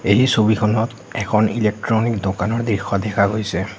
এই ছবিখনত এখন ইলেক্ট্ৰনিক দোকানৰ দৃস দেখা গৈছে।